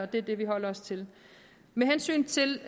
det er det vi holder os til med hensyn til